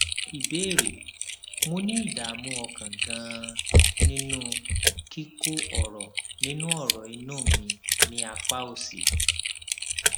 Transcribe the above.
ìbéèrè mo ní ìdààmú ọkàn ganan nínú kíkó ọrọ inú ọrọ inú mi ní apá òsì